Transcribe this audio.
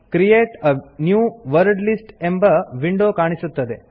create a new wordlist ಎಂಬ window ಕಾಣಿಸುತ್ತದೆ